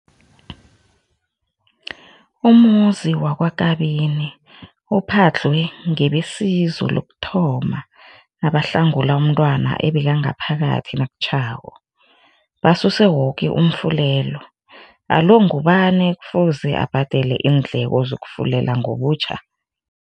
Umuzi wakwaKabini uphadlhwe ngebesizo lokuthoma nabahlangula umntwana obekangaphakathi nakutjhako, basuse woke umfulelo. Alo, ngubani okufuze abhadele iindleko zokufulela ngobutjha?